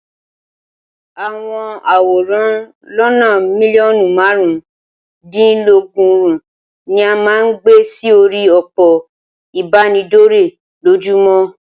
Àwọn àwòrán lónàa mílíọ̀nù márùn-úndínlọgọ́rùn ni a máa ń gbe sí orí òpó ìbánidọ́rẹ̀ lójúmọ́.